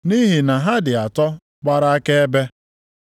Nʼihi na ha dị atọ gbara akaebe: